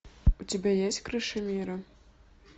у тебя есть крыша мира